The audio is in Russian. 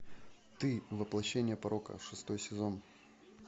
ты воплощение порока шестой сезон